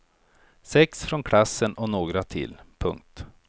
Sex från klassen och några till. punkt